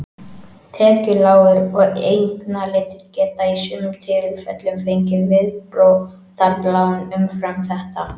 Tekjulágir og eignalitlir geta í sumum tilfellum fengið viðbótarlán umfram þetta.